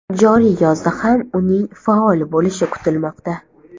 Joriy yozda ham uning faol bo‘lishi kutilmoqda.